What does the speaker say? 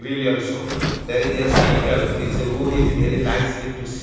wheel also there is a cycle this room is very nicely to see.